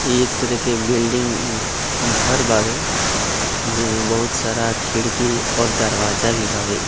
एक तरह के बिल्डिंग घर बावे जेमे बहुत सारा खिड़की और दरवाजा भी बावे।